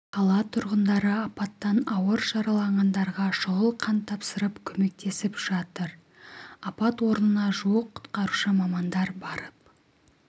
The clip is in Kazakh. қала тұрғындары апаттан ауыр жараланғандарға шұғыл қан тапсырып көмектесіп жатыр апат орнына жуық құтқарушы мамандар барып